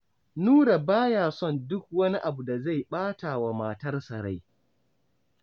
Nura ba ya son duk wani abu da zai ɓata wa matsarsa rai.